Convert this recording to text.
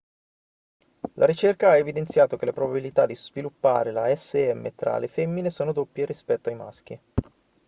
la ricerca ha evidenziato che le probabilità di sviluppare la sm tra le femmine sono doppie rispetto ai maschi